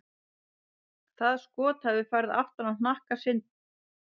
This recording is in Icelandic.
Það skot hafi farið aftan á hnakka Sandri.